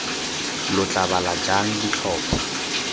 lo tla bala jang ditlhopho